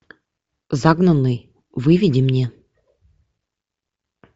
загнанный выведи мне